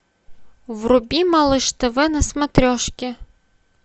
вруби малыш тв на смотрешке